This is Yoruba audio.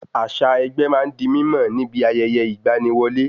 Àṣà ẹgbẹ́ ma ń di mímọ̀ níbi ayẹyẹ ìgba ni wọlé